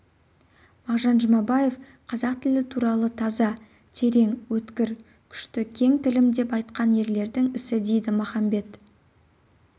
мағжан жұмабаев қазақ тілі туралы таза терең өткір күшті кең тілім деп айтқан ерлердің ісі дейді махамбет